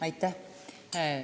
Aitäh!